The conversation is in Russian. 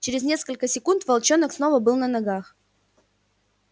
через несколько секунд волчонок снова был на ногах